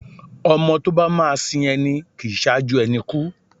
ọmọ tọ ba ma sín ení, kín saju ení kú